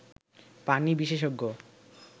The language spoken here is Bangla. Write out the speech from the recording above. পানি বিশেষজ্ঞ